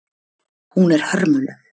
Hún er hörmuleg.